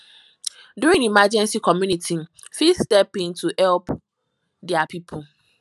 during emergency community fit step in to help their pipo